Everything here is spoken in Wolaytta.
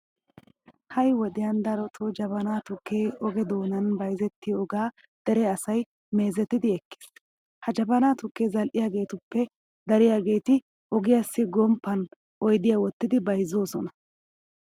Ha"i wodiyan darotoo jabanaa tukkee oge doonan bayzettiyogaa dere asay meezetidi ekkiis. Ha jabanaa tukkiya zal"iyageetuppe dariyageeti ogiyassi gomppan oydiya wottidi bayzzoosona.